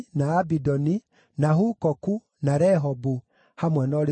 na Hukoku, na Rehobu, hamwe na ũrĩithio wamo;